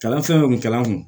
Kalan fɛn kun kɛra n kun